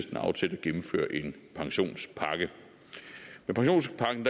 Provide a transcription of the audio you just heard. gennemføre en pensionspakke med pensionspakken